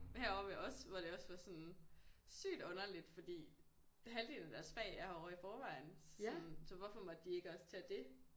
Heroppe også hvor det også var sådan sygt underligt fordi halvdelen af deres fag er herovre i forvejen sådan så hvorfor måtte de ikke også tage det